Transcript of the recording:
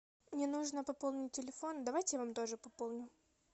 мне нужно пополнить телефон давайте я вам тоже пополню